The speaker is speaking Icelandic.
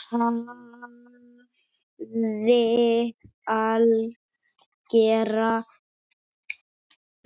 Hafði algera